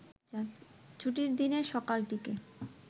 ছুটির দিনের সকালটিকে